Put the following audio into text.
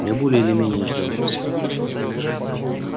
я более или менее ждал вас